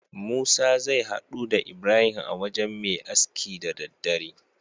Musa zai haɗu da ibrahim a wajan Me aski da daddare